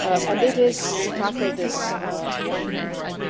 And it is to tackle this